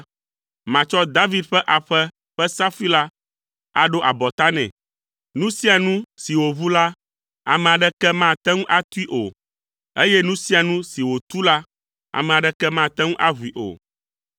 Matsɔ David ƒe aƒe ƒe safui la aɖo abɔta nɛ. Nu sia nu si wòʋu la, ame aɖeke mate ŋu atui o, eye nu sia nu si wòtu la, ame aɖeke mate ŋu aʋui o.